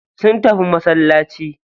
Sun tafi masallaci.